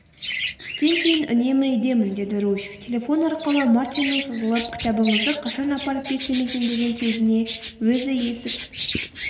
түстен кейін үнемі үйдемін деді руфь телефон арқылы мартиннің сызылып кітабыңызды қашан апарып берсем екен деген сөзіне.өзі есік